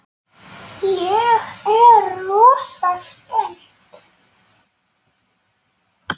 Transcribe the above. Ég er rosa spennt.